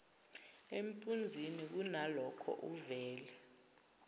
empunzini kunalokho uvele